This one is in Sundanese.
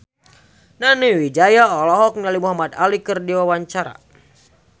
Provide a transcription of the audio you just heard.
Nani Wijaya olohok ningali Muhamad Ali keur diwawancara